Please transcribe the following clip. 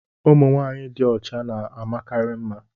ụmụ nwanyị dị ọcha na-amakarị mma